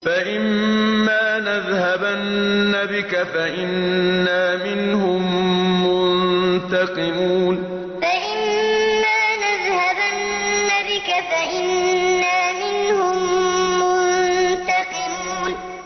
فَإِمَّا نَذْهَبَنَّ بِكَ فَإِنَّا مِنْهُم مُّنتَقِمُونَ فَإِمَّا نَذْهَبَنَّ بِكَ فَإِنَّا مِنْهُم مُّنتَقِمُونَ